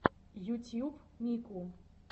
ютьюб мику